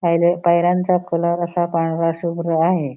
पायऱ्या पायऱ्यांचा कलर असा पांडरा शुभ्र आहे.